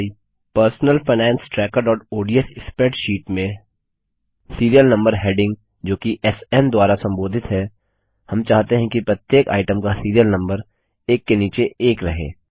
अब हमारी personal finance trackerओडीएस स्प्रैडशीट में सिरिअल नम्बर हेडिंग जोकि स्न द्वारा संबोधित है हम चाहते हैं कि प्रत्येक आइटम का सिरिअल नम्बर एक के नीचे एक रहे